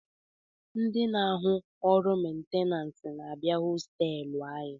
Ndi na-ahụ orụ mentenanse na-abịa hostelu anyị